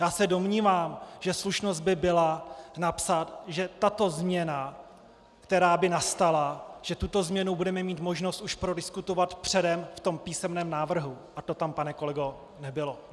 Já se domnívám, že slušnost by byla napsat, že tato změna, která by nastala, že tuto změnu bude mít možnost už prodiskutovat předem v tom písemném návrhu, a to tam, pane kolego, nebylo!